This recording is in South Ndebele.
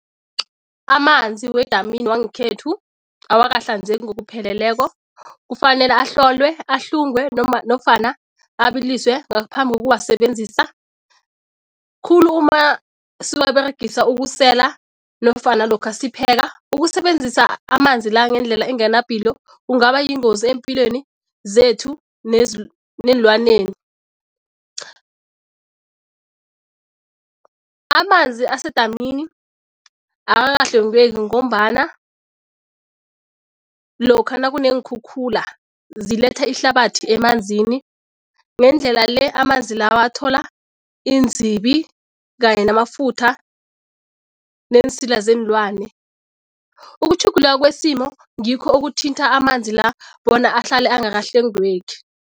Amanzi wedamini wangekhethu awakahlanzeki ngokupheleleko. Kufanele ahlolwe, ahlungwe noma nofana abiliswe ngaphambi kokuwasebenzisa khulu siwaberegise ukusela nofana lokha sipheka. Ukusebenzisa amanzi la ngendlela engena ipilo kungaba yingozi eempilweni zethu neenlwaneni. Amanzi asedamini akakahlwengeki ngombana lokha nakuneenkhukhula ziletha ihlabathi emanzini. Ngendlela le amanzi lawa athola iinzibi kanye namafutha, neensila zeenlwane. Ukutjhuguluka kwesimo ngikho okuthintha amanzi la bona ahlale angakahlwengeki.